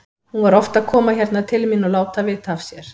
Hún var oft að koma hérna til mín og láta vita af sér.